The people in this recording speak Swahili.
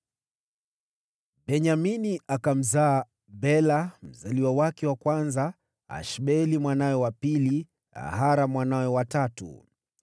Benyamini akamzaa: Bela mzaliwa wake wa kwanza, Ashbeli mwanawe wa pili, Ahara mwanawe wa tatu,